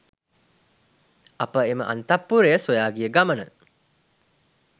අප එම අන්තඃපුරය සොයා ගිය ගමන